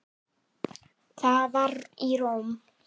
Það var í Róm.